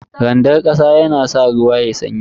Randar kasa yana sa ruwa yayi sanyi.